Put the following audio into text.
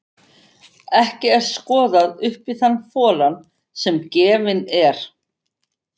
Ekki er skoðað upp í þann folann sem gefinn er.